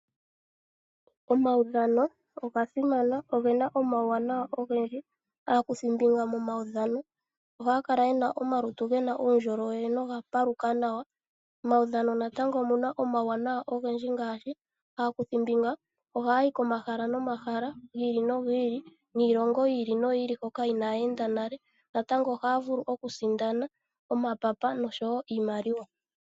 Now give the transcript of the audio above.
Omawudhano oga simana ogena omauwanawa ogendji. Aakuthimbinga momawudhano ohaa kala yena omalutu gena uundjolowele noga paluka nawa. Momawudhano natangonomuna omauwanawa ogendji ngaashi aakuthimbinga ohaa yi komahala nomahala gili no gili niilongo yili no yili mbyoka inaa ya enda nale natango ohaa vulu okusindana omapapa noshowo iimaliwa.